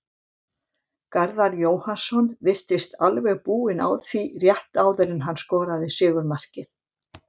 Garðar Jóhannsson virtist alveg búinn á því rétt áður en hann skoraði sigurmarkið.